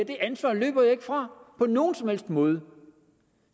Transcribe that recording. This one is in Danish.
det ansvar løber jeg ikke fra på nogen som helst måde